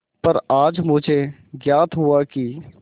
पर आज मुझे ज्ञात हुआ कि